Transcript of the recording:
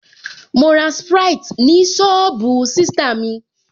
Mo ra sprite ni sọ́ọ̀bù sista mi